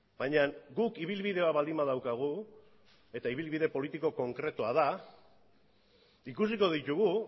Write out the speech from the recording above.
baina guk ibilbide bat baldin badaukagu eta ibilbide politiko konkretua da ikusiko ditugu